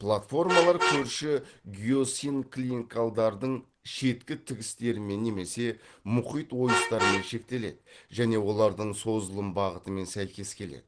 платформалар көрші геосинклинкалдардың шеткі тігістерімен немесе мұхит ойыстарымен шектеледі және олардың созылым бағытымен сәйкес келеді